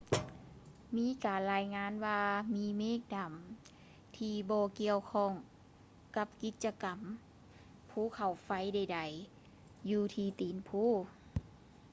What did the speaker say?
ມີການລາຍງານວ່າ ມີເມກດຳທີ່ບໍ່ກ່ຽວຂ້ອງກັບກິດຈະກໍາພູເຂົາໄຟໃດໆ ຢູ່ທີ່ຕີນພູ